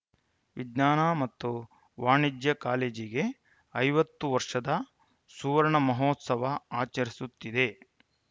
ವಿಜ್ಞಾನ ಮತ್ತು ವಾಣಿಜ್ಯ ಕಾಲೇಜಿಗೆ ಐವತ್ತು ವರ್ಷದ ಸುವರ್ಣ ಮಹೋತ್ಸವ ಆಚರಿಸುತ್ತಿದೆ